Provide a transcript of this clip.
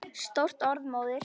Stórt orð móðir!